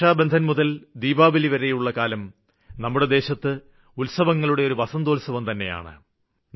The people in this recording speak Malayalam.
രക്ഷാബന്ധന് മുതല് ദീപാവലിവരെയുള്ള കാലം നമ്മുടെ ദേശത്ത് ഉത്സവങ്ങളുടെ ഒരു വസന്തോത്സവം തന്നെയാണ്